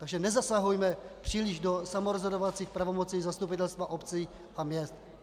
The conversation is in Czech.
Takže nezasahujme příliš do samorozhodovacích pravomocí zastupitelstva obcí a měst.